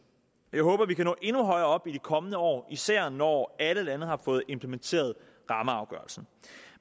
jeg håber vi kan nå endnu højere op i de kommende år især når alle lande har fået implementeret rammeafgørelsen